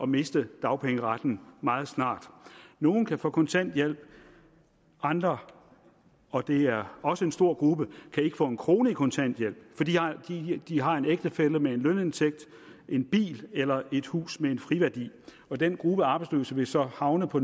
miste dagpengeretten meget snart nogle kan få kontanthjælp andre og det er også en stor gruppe kan ikke få en krone i kontanthjælp fordi de har en ægtefælle med en lønindtægt en bil eller et hus med en friværdi den gruppe af arbejdsløse vil så havne på